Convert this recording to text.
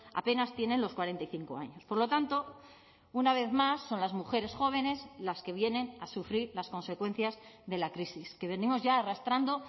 apenas tienen los cuarenta y cinco años por lo tanto una vez más son las mujeres jóvenes las que vienen a sufrir las consecuencias de la crisis que venimos ya arrastrando